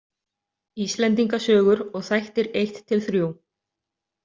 Íslendingasögur og þættir I-III.